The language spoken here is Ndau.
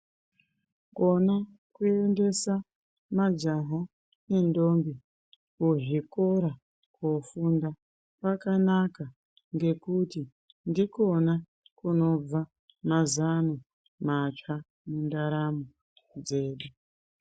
Kona kuendesa majaha nendobhi kuzvikora kofunda kwakanaka ngekuti ndikona kunobva mazano matsva mundaramo dzedu.